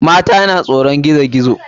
Mata na tsoron gizo gizo.